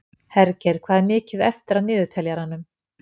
Hergeir, hvað er mikið eftir af niðurteljaranum?